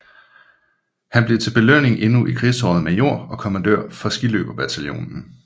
Han blev til belønning endnu i krigsåret major og kommandør for skiløberbataljonen